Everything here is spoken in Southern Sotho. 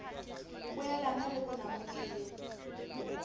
poelano le bonamodi e leng